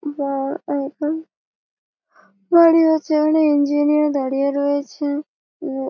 বা এখন দাঁড়িয়ে আছে একটা ইঞ্জিনিয়ার দাঁড়িয়ে রয়েছে ও --